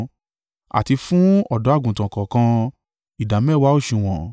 àti fún ọ̀dọ́-àgùntàn kọ̀ọ̀kan, ìdámẹ́wàá òsùwọ̀n.